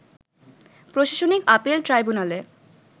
প্রশাসনিক আপিল ট্রাইব্যুনালের